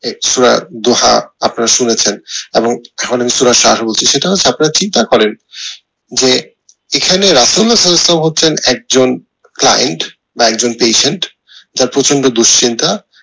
সূরা দোহা আপনারা শুনেছেন এবং সেটা হচ্ছে আপনারা চিন্তা করেন যে এখানে সালাউল ইসলাম হচ্ছেন একজন client একজন patient যার প্রচন্ড দুশ্চিন্তা